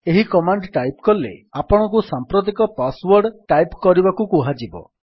ଏହି command type କଲେ ଆପଣଙ୍କୁ ସାମ୍ପ୍ରତିକ ପାସ୍ ୱର୍ଡ ଟାଇପ୍ କରିବାକୁ କୁହାଯିବ